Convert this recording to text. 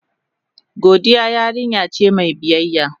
Godiya yarinya ce mai biyayya.